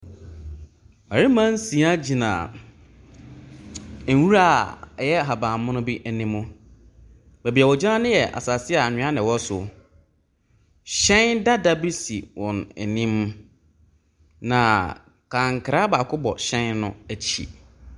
Mmarima nsia gyina nwura a ɛyɛ ahaban mono bi anim. Baabi a wɔgyina no yɛ asase a anwea na ɛwɔ so. Hyɛn dada bi si wɔn anim, na kankra baako bɔ hyɛn no akyi.